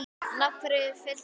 En af hverju Fylkir?